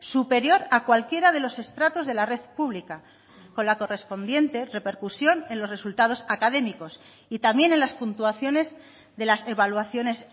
superior a cualquiera de los estratos de la red pública con la correspondiente repercusión en los resultados académicos y también en las puntuaciones de las evaluaciones